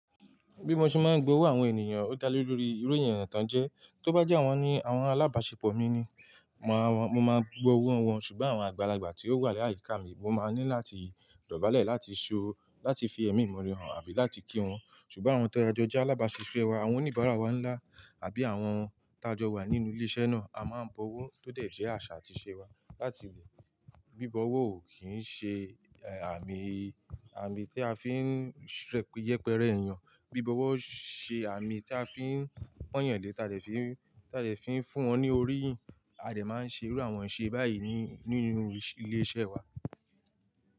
Bí mo ṣe máa ń gbowó àwọn ènìyàn ó dá lé lórí irú ènìyàn tán jẹ́, tó bá jẹ́ àwọn ni àwọn alábàṣepọ̀ mi ni, mo máa gbowó wọ́n, ṣùgbọ́n àwọn àgbàlagbà tí ó wà láyìíká mi, mo máa ní láti dọ̀bálẹ̀ láti ṣo láti fi ẹ̀mí mi hán àbí láti kí wọn. Ṣùgbọ́n àwọn tí a jó jẹ alábáṣiṣẹ́ wa, àwọn oníbàárà wa ńlá àbí àwọn taájọ wà nínú ilé iṣẹ́ náà, a máa ń bọwọ́ tó dẹ̀ jẹ́ àṣà àti ìṣe wa. Láti ìgbà mí bí bọwọ́ ò kí ń ṣe àmì, àmì pe a fi ń yẹpẹrẹ ènìyàn, bí bọwọ́ ṣe àmì tí a fi ń pọ́n èèyàn le, ta dé fi, ta de fi n fún wọn ní orí yin, a dè máa ń ṣe irú àwọn iṣe báyìí nínú ilé iṣẹ́ wa.